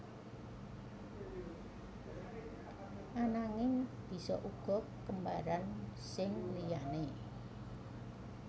Ananging bisa uga kembaran sing liyané